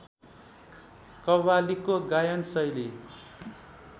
कव्वालीको गायन शैली